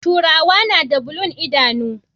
Turawa nada bulun idanu